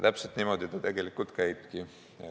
Täpselt niimoodi see käibki.